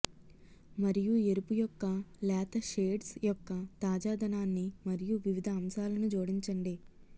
మరియు ఎరుపు యొక్క లేత షేడ్స్ యొక్క తాజాదనాన్ని మరియు వివిధ అంశాలను జోడించండి